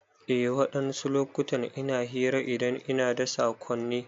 Eh wadansu lokutan ina hira idan ina da sakonni.